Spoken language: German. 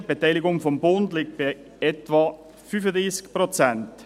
Die Beteiligung des Bundes liegt bei etwa 35 Prozent.